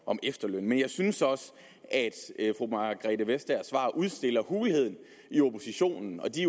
om efterlønnen men jeg synes også at fru margrethe vestagers svar udstiller hulheden i oppositionen og de